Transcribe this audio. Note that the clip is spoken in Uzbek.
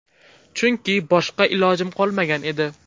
Chunki boshqa ilojim qolmagan edi.